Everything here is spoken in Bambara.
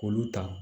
K'olu ta